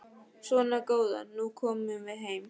Svona góða, nú komum við heim.